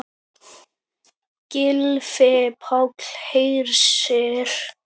Gylfi Páll Hersir.